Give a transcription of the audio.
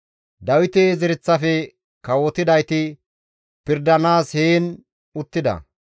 Dawite zereththafe kawotidayti pirdanaas heen uttida.